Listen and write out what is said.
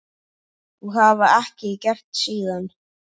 Og hafa ekki gert síðan.